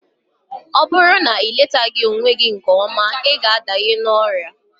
Ọ bụrụ na iletaghi onwe gị nke ọma, ịga adanye n'ọrịa